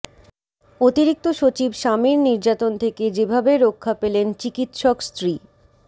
অতিরিক্ত সচিব স্বামীর নির্যাতন থেকে যেভাবে রক্ষা পেলেন চিকিৎসক স্ত্রী